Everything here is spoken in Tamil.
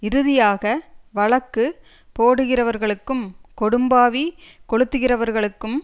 இறுதியாக வழக்கு போடுகிறவர்களுக்கும் கொடும்பாவி கொளுத்துகிறவர்களுக்கும்